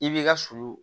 I b'i ka sulu